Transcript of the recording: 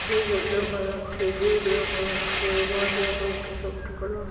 Cycle দেখা যাচ্ছে gate দেখা যাচ্ছে বাড়ি দেখা যাচ্ছে সবুজ কালার ।